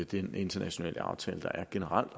den internationale aftale der generelt